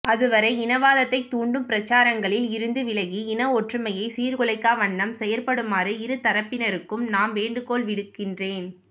அதுவரை இனவாதத்தை தூண்டும் பிரச்சாரங்களில் இருந்து விலகி இன ஒற்றுமையை சீர்குலைக்கா வண்ணம் செயற்படுமாறு இருதரப்பினருக்கும் நாம் வேண்டுகோள்விடுக்கிறேன்